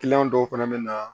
dɔw fana bɛ na